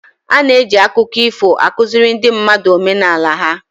Ana eji akụkọ ifo akụziri ndị mmadụ omenala ha